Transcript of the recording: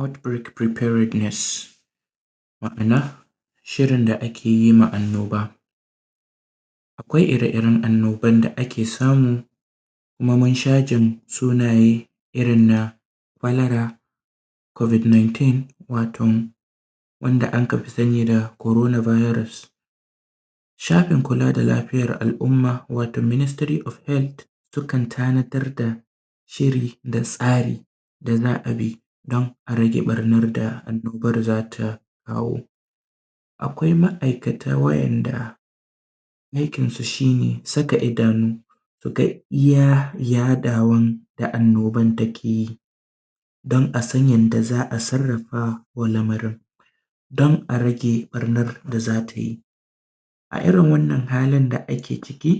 Out break preparateness ma’ana shirin da akeyi ma anno ba akwai ire iren annoban da ake samu kuma munsha jin sunaye irrina kwalewa kobik nintin waton wanda akafi sani da korona birus sha’anin kula da lafiyan al umma watom ministiri of healt sukan tana darda shiri da tsari da za’abi dan arage barnan da annoban zata kawo akwai ma’iakata wayan da aikin su shine saka idanu suga iyya yaduwan da annoban takeyi dan asan yanda za’a sarrafa wa lamarin a rage barnan da zatayi a irrin wannan halin da ake da ake ciki